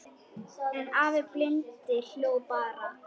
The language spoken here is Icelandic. En afi blindi hló bara.